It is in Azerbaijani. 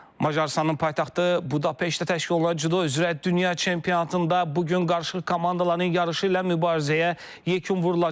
Macarıstanın paytaxtı Budapeştdə təşkil olunan Cüdo üzrə dünya çempionatında bu gün qarışıq komandaların yarışı ilə mübarizəyə yekun vurulacaq.